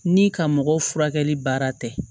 Ni ka mɔgɔ furakɛli baara tɛ